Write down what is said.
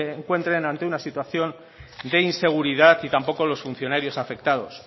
encuentren ante una situación de inseguridad y tampoco los funcionarios afectados